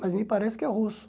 Mas me parece que é russo.